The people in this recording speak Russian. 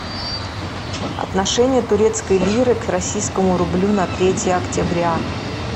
отношение турецкой лиры к российскому рублю на третье октября